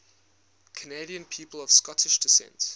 canadian people of scottish descent